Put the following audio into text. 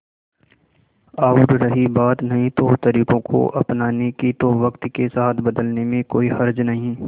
और रही बात नए तौरतरीकों को अपनाने की तो वक्त के साथ बदलने में कोई हर्ज नहीं